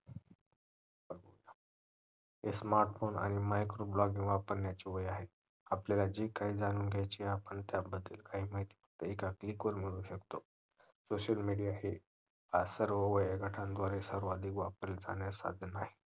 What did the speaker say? smart phone आणि micro blogging वापरण्याचे वय आहे आपल्याला जे काही जाणून घ्यायचे आहे आपण त्याबद्दल माहिती एका click मध्ये मिळवू शकतो SOCIAL MEDIA हे आज सर्व वयोगटांद्वारे सर्वाधिक वापरले जाणारे साधन आहे